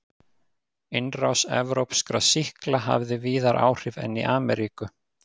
Innrás evrópskra sýkla hafði víðar áhrif en í Ameríku.